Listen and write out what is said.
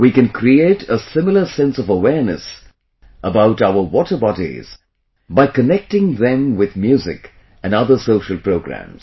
We can create a similar sense of awareness about our water bodies by connecting them with music and other social programs